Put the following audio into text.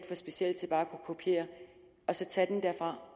for specielle til bare at kunne kopiere og så tage det derfra